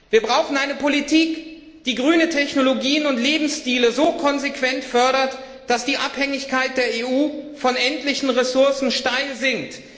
Wir brauchen eine Politik, die grüne Technologien und Lebensstile so konsequent fördert, dass die Abhängigkeit der EU von endlichen Ressourcen rapide sinkt.